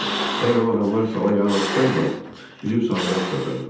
Əgər o adamlar sala yanaşsaydılar, üzüb sahilə çıxacaqdım.